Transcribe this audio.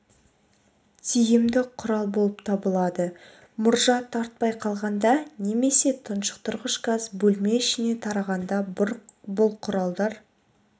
тиімді құрал болып табылады мұржа тартпай қалғанда немесе тұншықтырғыш газ бөлме ішіне тарағанда бұл құралдар